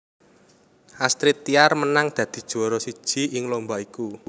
Astrid Tiar menang dadi juwara siji ing lomba iku